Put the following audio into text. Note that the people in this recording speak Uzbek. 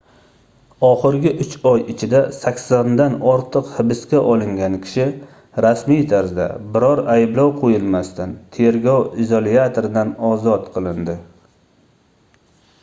oxirgi 3 oy ichida 80 dan ortiq hibsga olingan kishi rasmiy tarzda biror ayblov qoʻyilmasdan tergov izolyatoridan ozod qilindi